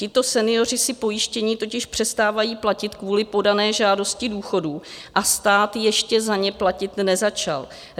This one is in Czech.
Tito senioři si pojištění totiž přestávají platit kvůli podané žádosti důchodu a stát ještě za ně platit nezačal.